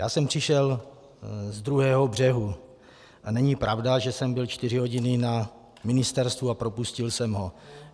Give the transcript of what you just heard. Já jsem přišel ze druhého břehu a není pravda, že jsem byl čtyři hodiny na ministerstvu a propustil jsem ho.